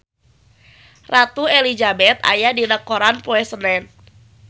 Ratu Elizabeth aya dina koran poe Senen